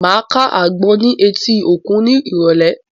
Màá ká àgbọn ní etí òkun ní ìrọ̀lẹ́